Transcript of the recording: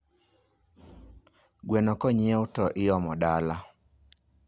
gweno konyiew to iomo dala